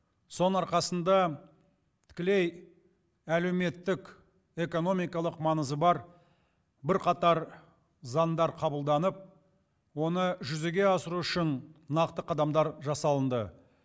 соның арқасында тікілей әлеуметтік экономикалық маңызы бар бірқатар заңдар қабылданып оны жүзеге асыру үшін нақты қадамдар жасалынды